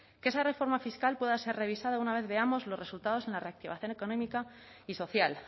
que esa reforma fiscal pueda ser revisada una vez veamos los resultados en la reactivación económica y social